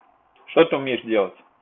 что ты умеешь делать